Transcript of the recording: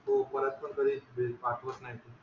हो परत कधीच ते पडवत नाही